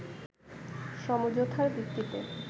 সমঝোতার ভিত্তিতে